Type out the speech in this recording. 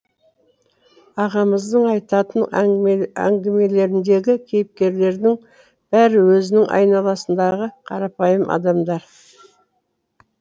ағамыздың айтатын әңгімелеріндегі кейіпкерлерінің бәрі өзінің айналасындағы қарапайым адамдар